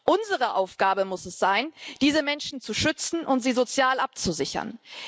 Unsere Aufgabe muss es sein, diese Menschen zu schützen und sie sozial abzusichern.